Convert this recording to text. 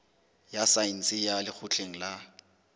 ya saense ya lekgotleng la